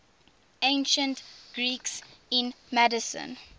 ancient greeks in macedon